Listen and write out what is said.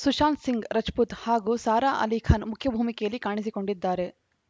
ಸುಷಾಂತ್‌ ಸಿಂಗ್‌ ರಜಪೂತ್‌ ಹಾಗೂ ಸಾರಾ ಆಲಿಖಾನ್‌ ಮುಖ್ಯ ಭೂಮಿಕೆಯಲ್ಲಿ ಕಾಣಿಸಿಕೊಂಡಿದ್ದಾರೆ